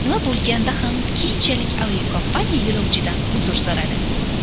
Nima bo‘lganda ham, keyinchalik aviakompaniya yo‘lovchidan uzr so‘radi.